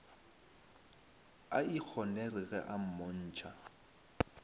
a ikgonere ge a mmontšha